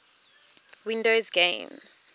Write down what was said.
windows games